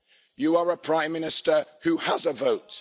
You are a Prime Minister who has a vote.